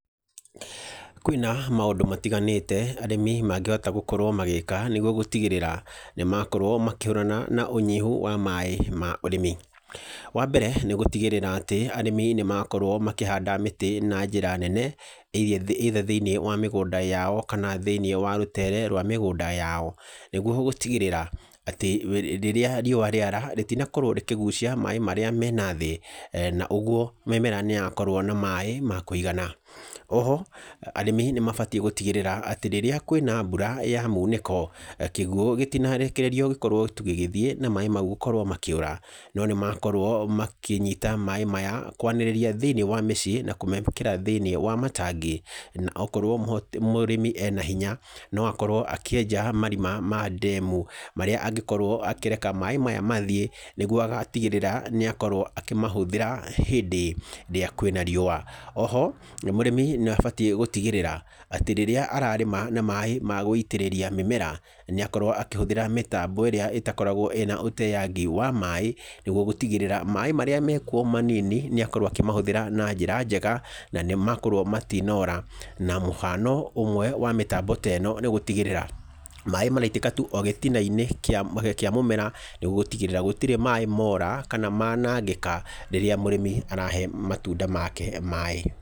Kwĩna maũndũ matiganĩte arĩmi mangĩhota gũkorwo magĩka nĩguo gũtigĩrĩra nĩ makorwo makĩhũrana na ũnyihu wa maaĩ ma ũrĩmi. Wa mbere nĩ gũtigĩrĩra atĩ arĩmi nĩ makorwo makĩhanda mĩtĩ na njĩra nene either thĩiniĩ wa mĩgũnda yao, kana thĩiniĩ wa rũtere rwa mĩgũnda yao nĩguo gũtigĩrĩra atĩ rĩrĩa riũa rĩara rĩtinakorwo rĩkĩgucia maaĩ maríĩ me na thĩĩ, na ũguo mĩmere nĩ yakorwo na maaĩ ma kũigana. Oho arĩmi nĩ mabatiĩ gũtigĩrĩra atĩ rĩrĩa kwĩna mbura ya mũnĩko kĩguũ gĩtinarekererio gĩkorwo tu gĩgĩthiĩ na maaĩ mau gũkorwo makĩũra.No nĩ makorwo makĩnyita maaĩ maya kwanĩrĩria thĩiniĩ wa mĩciĩ, na kũmabokera thĩiniĩ wa matangi, na okorwo mũrĩmi ena hinya no akorwo akĩenja marima ma ndemu, marĩa angĩkorwo akĩreka maaĩ maya mathiĩ nĩguo agatigĩrĩra nĩ akorwo akĩmahũthĩra hĩndĩ ĩrĩa kwĩna riũa. Oho mũrĩmi nĩ abatiĩ gũtigĩrĩra atĩ rĩrĩa ararĩma na maaĩ ma gũitĩrĩria mĩmera, nĩ akorwo akĩhũthĩra mĩtambo ĩrĩa ĩtakoragwo ĩna ũteangi wa maaĩ, nĩguo gũtigĩrĩra maaĩ marĩa mekuo manini nĩ akorwo akĩmahũthĩra na njĩra njega, na nĩmakorwo matinora, na mũhano ũmwe wa mĩtambo ta ĩno nĩ gũtigĩrĩra maaĩ maraitĩka tu o gĩtina-inĩ kia mũmera, nĩguo gũtigĩrĩra gũtirĩ maaĩ mora, kana manangĩka rĩrĩa mũrĩmi arahe matunda make maaĩ.